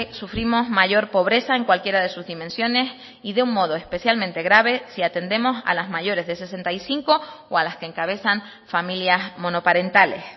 sufrimos mayor pobreza en cualquiera de sus dimensiones y de un modo especialmente grave si atendemos a las mayores de sesenta y cinco o a las que encabezan familias monoparentales